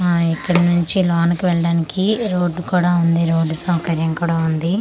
ఆ ఇక్కడి నుంచి లోనికి వెళ్ళడానికి రోడ్డు కూడా ఉంది రోడ్డు సౌకర్యం కూడా ఉంది.